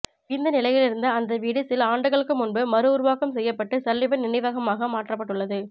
இடிந்த நிலையிலிருந்த அந்த வீடு சில ஆண்டுகளுக்கு முன்பு மறுஉருவாக்கம் செய்யப்பட்டு சல்லிவன் நினைவகமாக மாற்றப்பட்டுள்ளது